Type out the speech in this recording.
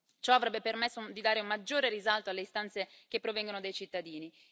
Ciò avrebbe permesso di dare maggiore risalto alle istanze che provengono dai cittadini.